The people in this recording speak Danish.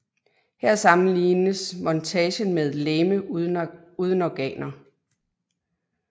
Her sammenlignes montagen med et legeme uden organer